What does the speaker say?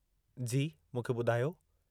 जी, मुखे ॿुधायो।